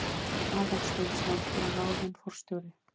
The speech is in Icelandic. Aðalsteinsson var ráðinn forstjóri.